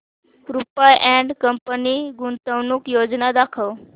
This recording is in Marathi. रुपा अँड कंपनी गुंतवणूक योजना दाखव